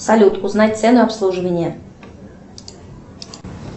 салют узнать цену обслуживания